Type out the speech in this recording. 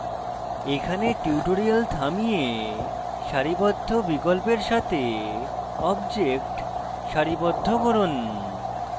এখানে tutorial থামিয়ে সারিবদ্ধ বিকল্পের সাথে objects সারিবদ্ধ করুন